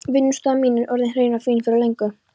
Vinnustofan mín er orðin hrein og fín fyrir löngu.